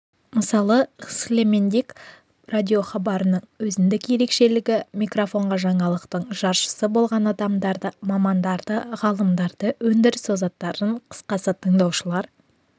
мысалы схелемендик радиохабарының өзіндік ерекшелігі микрофонға жаңалықтың жаршысы болған адамдарды мамандарды ғалымдарды өндіріс озаттарын қысқасы тыңдаушылар